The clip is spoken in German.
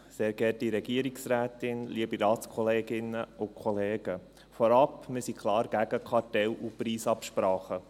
Vorab: Wir sind klar gegen Kartelle und Preisabsprachen.